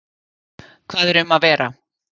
Hvað er um að vera?